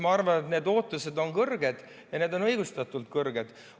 Ma arvan, et need ootused on kõrged ja need on õigustatult kõrged.